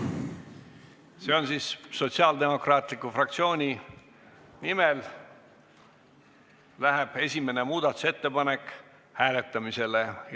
Sotsiaaldemokraatliku Erakonna fraktsiooni palvel läheb esimene muudatusettepanek hääletamisele.